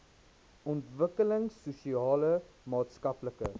ontwikkelings sosiale maatskaplike